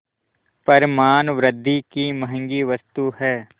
पर मानवृद्वि की महँगी वस्तु है